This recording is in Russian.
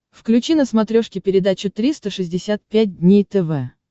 включи на смотрешке передачу триста шестьдесят пять дней тв